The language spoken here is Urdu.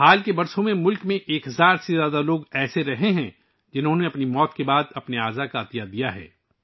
حالیہ برسوں میں ملک میں ایک ہزار سے زائد افراد ایسے ہیں جنھوں نے اپنی موت کے بعد اپنے اعضا کا عطیہ کیا ہے